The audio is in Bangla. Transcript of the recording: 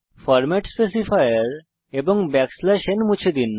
ফরম্যাট স্পেসিফায়ার এবং n মুছে দিন